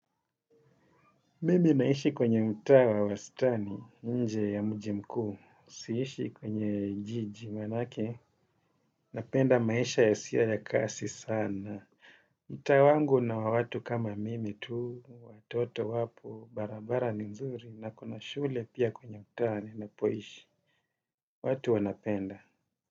Mimi naishi kwenye mtaa wa wastani, nje ya mjimkuu, siishi kwenye jiji manake, napenda maisha yasiyo ya kasi sana. Mtaa wangu una watu kama mimi tu, watoto wapo, barabara nzuri, na kuna shule pia kwenye mtaa ninapoishi, watu wanapenda.